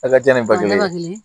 A ka jan ni ba kelen